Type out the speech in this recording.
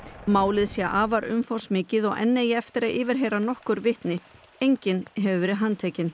málið sé afar umfangsmikið og enn eigi eftir að yfirheyra nokkur vitni enginn hefur verið handtekinn